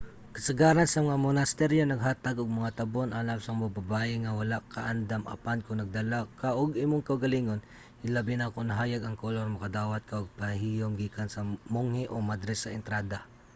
kasagaran sa mga monasteryo naghatag og mga tabon alang sa mga babaye nga wala kaandam apan kon nagdala ka og imong kaugalingon hilabi na kon hayag ang kolor makadawat ka og pahiyom gikan sa monghe o madre sa entrada